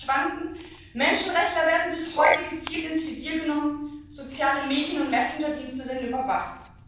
Hunderte verschwanden, Menschenrechtler werden bis heute gezielt ins Visier genommen, soziale Medien und Messenger Dienste sind überwacht.